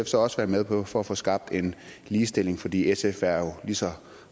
så også være med på for at få skabt en ligestilling fordi sf er jo lige så